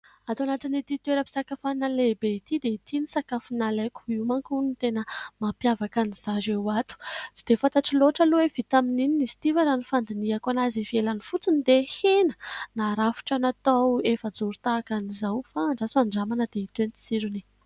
Ato anatin'ity toeram-pisakafoanana lehibe ity dia ity ny sakafo nalaiko, io mantsy hono no tena mampiavaka anzareo ato. Tsy dia fantatro loatra aloha hoe vita amin'ny inona izy ity fa raha ny fandinihako azy ivelany fotsiny dia hena. Narafitra natao efajoro tahaka an'izao fa andraso handramana dia hita eo ny tsirony.